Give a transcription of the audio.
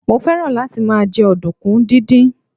mo fẹràn láti ma je ọdunkun didin